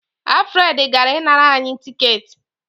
Alfred gara ịnara anyị tiketi.